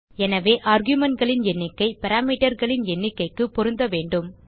எனவே argumentகளின் எண்ணிக்கை parameterகளின் எண்ணிக்கைக்கு பொருந்த வேண்டும்